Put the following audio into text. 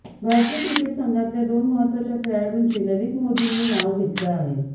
भारतीय क्रिकेट संघातल्या दोन महत्त्वाच्या खेळाडूंची ललित मोदींनी नाव घेतलं आहे